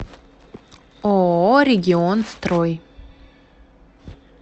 ооо регионстрой